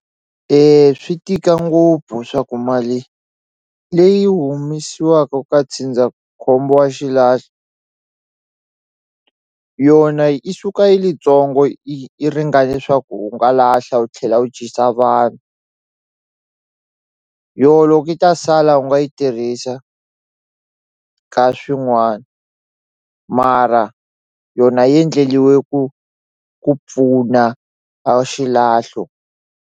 E swi tika ngopfu swa ku mali leyi humesiwaka ka ndzindzakhombo wa xilahlo yona i suka yilitsongo i yi ringane swaku u nga lahla u tlhela u dyisa vanhu yoho loko yi ta sala u nga yi tirhisa ka swin'wana mara yona yendleliwe ku ku pfuna a xilahlo.